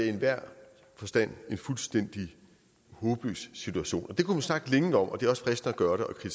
enhver forstand en fuldstændig håbløs situation det kunne man snakke længe om og det er også fristende at gøre det